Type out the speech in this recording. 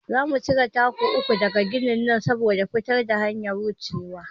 Za mu cire taku uku daga ginin nan saboda a fitar da hanyar wucewa.